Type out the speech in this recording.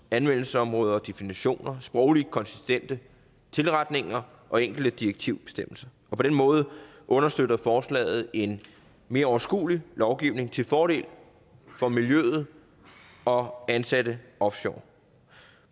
anvendelsesområde og definitioner sprogligt konsistente tilretninger og enkelte direktivbestemmelser og på den måde understøtter forslaget en mere overskuelig lovgivning til fordel for miljø og og ansatte offshore